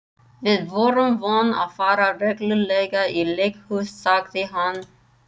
Við vorum vön að fara reglulega í leikhús, sagði hann.